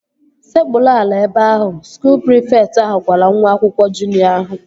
Sekpuru ala ebe ahu! Skuul prịfekt ahụ gwara nwa akwụkwọ juniọ ahụ